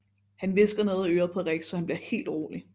Han hvisker noget i øret på Rex så han bliver helt rolig